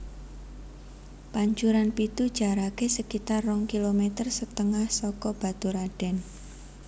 Pancuran Pitu jaraké sekitar rong kilometer setengah saka Baturadèn